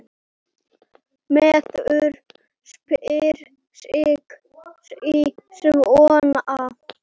Maður spyr sig sí svona.